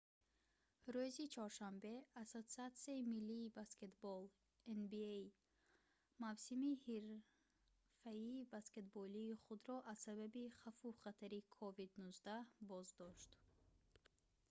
рӯзи чоршанбе ассотсиатсияи миллии баскетбол nba мавсими ҳирфаии баскетболии худро аз сабаби хавфу хатари covid-19 боздошт